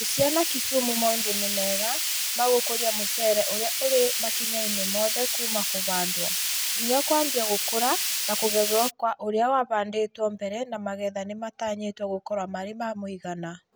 Busia na Kisumu maũndũ nĩ mega ma gũkũria mucere ũrĩa ũrĩ makinya-inĩ mothe kuuma kũhandwo, nginya kwambia gũkũra na kũgethwo kwa ũrĩa wahandĩtwo mbere na magetha nĩmatanyĩtwo gũkorwo marĩ ma mũigana